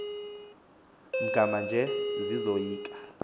mgama nje zisoyika